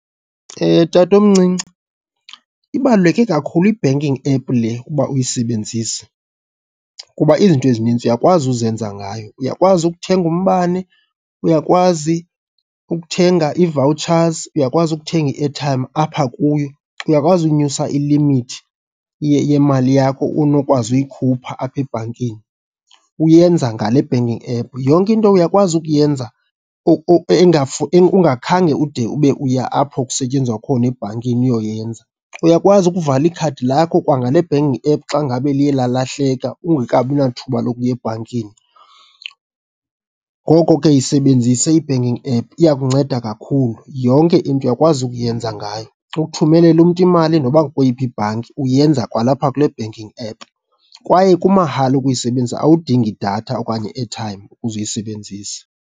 Tatomncinci, ibaluleke kakhulu i-banking app le uba uyisebenzise kuba izinto ezininzi uyakwazi uzenza ngayo. Uyakwazi ukuthenga umbane, uyakwazi ukuthenga ii-vouchers, uyakwazi ukuthenga i-airtime apha kuyo, uyakwazi unyusa ilimithi yemali yakho onokwazi uyikhupha apha ebhankini, uyenza ngale banking app. Yonke into uyakwazi ukuyenza ungakhange ude ube uya apho kusetyenzwa khona ebhankini uyoyenza. Uyakwazi ukuvala ikhadi lakho kwangale banking app xa ngabe liye lalahleka ungekabi nathuba lokuya ebhankini. Ngoko ke yisebenzise i-banking app iya kukunceda kakhulu. Yonke into uyakwazi ukuyenza ngayo, ukuthumelela umntu imali noba kukweyiphi ibhanki uyenza kwalapha kule banking app. Kwaye kumahala ukuyisebenzisa, awudingi datha okanye i-airtime ukuze uyisebenzise.